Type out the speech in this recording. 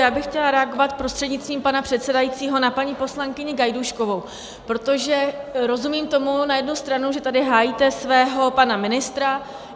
Já bych chtěla reagovat prostřednictvím pana předsedajícího na paní poslankyni Gajdůškovou, protože rozumím tomu na jednu stranu, že tady hájíte svého pana ministra.